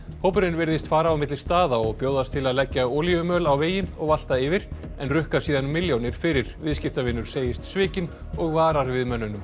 hópurinn virðist fara á milli staða og bjóðast til að leggja olíumöl á vegi og valta yfir en rukka síðan milljónir fyrir viðskiptavinur segist svikinn og varar við mönnunum